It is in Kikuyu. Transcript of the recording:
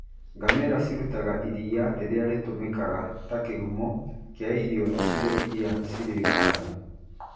Ngamĩra cirutaga iria rĩrĩa rĩtũmikaga ta kĩhumo kĩa irio icigo-inĩ iria cirĩ ng'aragu.